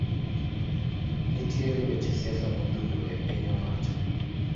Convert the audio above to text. Nitiere weche siasa modhuro e piny owacho.